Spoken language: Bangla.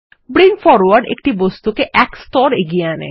ব্রিং ফরওয়ার্ড একটি বস্তুকে এক স্তর এগিয়ে আনে